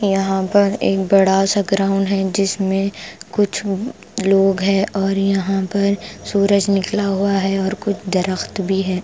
यहां पर एक बड़ा सा ग्राउंड है जिसमें कुछ लोग है और यहां पर सूरज निकला हुआ है और कुछ दरख्त भी है ।